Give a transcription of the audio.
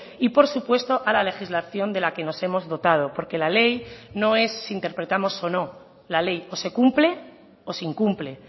y por supuesto a la legislación de la que nos hemos dotado porque la ley no es si interpretamos o no la ley o se cumple o se incumple